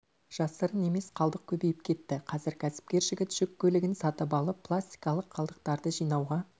жасырын емес қалдық көбейіп кетті қазір кәсіпкер жігіт жүк көлігін сатып алып пластикалық қалдықтарды жинауға